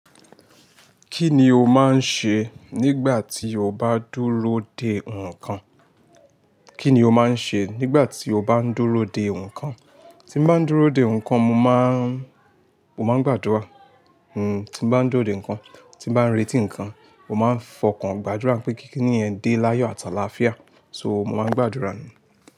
Kí ni o máa ń ṣe nígbà tí o bá dúró dè nǹkan? Kí ni o máa ń ṣe nígbà tí o bá ń dúró dè nǹkan? Tí mo bá ń dúró dè nǹkan, mo máa ń, mo máa ń gbàdúrà. Hmm, tí mo bá ń dúró dè nǹkan, tí bá ń retí nǹkan, mo máa ń fọkàn gbàdúrà pé kí ní yen dé láyọ̀ ati àlaafia. So mo máa ń gbàdúrà ni.